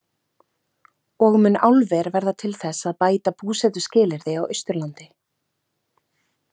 Og mun álver verða til þess að bæta búsetuskilyrði á Austurlandi?